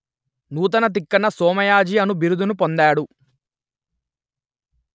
నూతన తిక్కన సోమయాజి అను బిరుదును పొందాడు